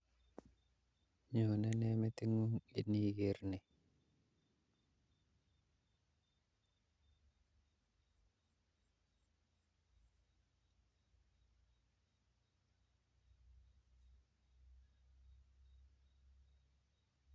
Nyone nee meting'ung' iniker ni?